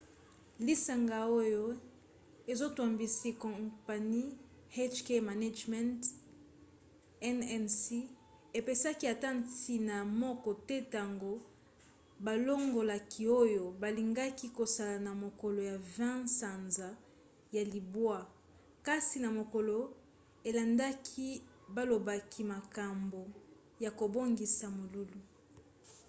lisanga oyo ezotambwisi kompani hk management inc. epesaki ata ntina moko te tanga balongolaki oyo balingaki kosala na mokolo ya 20 sanza ya libwa kasi na mokolo elandaki balobelaki makambo ya kobongisa molulu